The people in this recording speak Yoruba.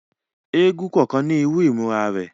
Èègún kọọkan ni iru imura rẹ